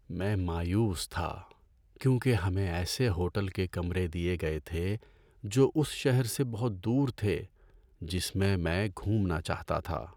میں مایوس تھا کیونکہ ہمیں ایسے ہوٹل کے کمرے دیے گئے تھے جو اس شہر سے بہت دور تھے جس میں میں گھومنا چاہتا تھا۔